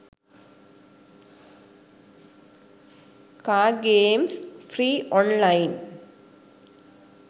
car games free online